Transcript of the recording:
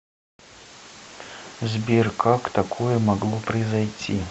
сбер как такое могло произойти